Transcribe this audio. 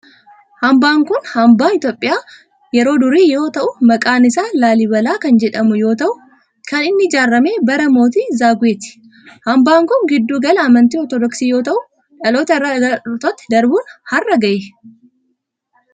Hambaan kun hambaa Itiyoophiyaa yeroo durii yoo ta'u maqaan isaa Laalibalaa kan jedhamu yoo ta'u kan inni ijaarame bara mootii Zaaguweeti. Hambaan kun gidduu gala amantii ortodoksii yoo ta'u dhaloota irraa dhalootatti darbun har'a gahee.